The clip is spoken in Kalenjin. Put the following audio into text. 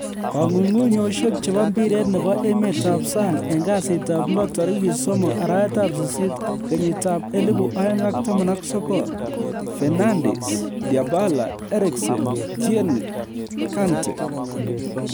Kong'ung'unyosiek chebo mpiret nebo emetab sang en kasitab lo tarigit 03/08/2019: Fernandes, Dybala, Eriksen, Tierney, Kante